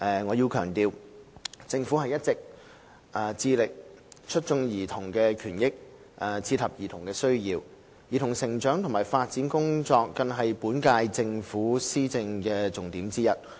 我要強調，政府一直致力促進兒童的權益，切合兒童的需要；兒童成長及發展工作更是本屆政府的施政重點之一。